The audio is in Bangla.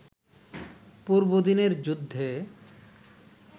পূর্বদিনের যুদ্ধে